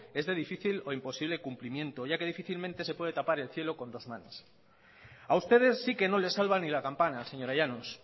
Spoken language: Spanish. es de difícil o imposible cumplimiento ya que difícilmente se puede tapar el cielo con dos manos a ustedes si que no les salva ni la campana señora llanos